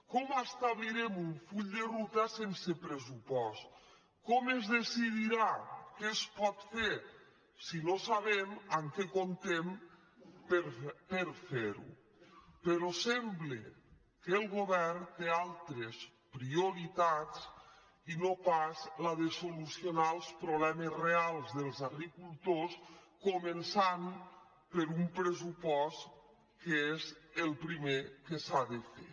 com establirem un full de ruta sense pressupost com es decidirà què es pot fer si no sa·bem amb què comptem per fer·ho però sembla que el govern té altres prioritats i no pas la de solucionar els problemes reals dels agricultors començant per un pressupost que és el primer que s’ha de fer